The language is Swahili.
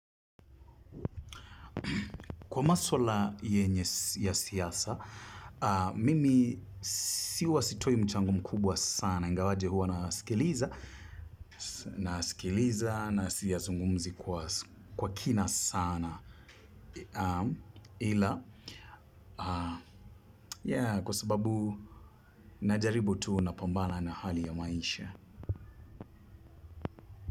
Kwa masuala yenye, ya siasa, mimi huwa sitoi mchango mkubwa sana. Ingawaje huwa nasikiliza, nasikiliza na siyazungumzi kwa kina sana. Ila, kwa sababu najaribu tu na pambana na hali ya maisha.